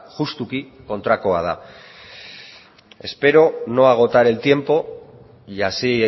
justuki kontrakoa da espero no agotar el tiempo y así